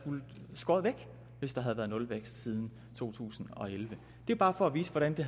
skåret væk hvis der havde været nulvækst siden to tusind og elleve det er bare for at vise hvordan det